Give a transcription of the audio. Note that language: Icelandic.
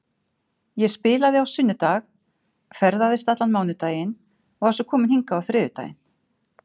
Ég spilaði á sunnudag, ferðaðist allan mánudaginn og var svo komin hingað á þriðjudaginn.